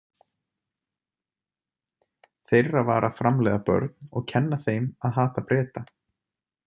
Þeirra var að framleiða börn og kenna þeim að hata Breta.